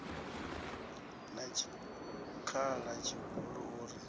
na tshikhala tshihulu u ri